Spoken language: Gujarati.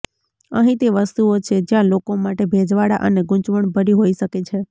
અહીં તે વસ્તુઓ છે જ્યાં લોકો માટે ભેજવાળા અને ગૂંચવણભરી હોઇ શકે છે